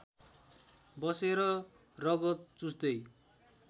बसेर रगत चुस्दै